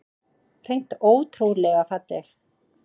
Hreint ótrúlega falleg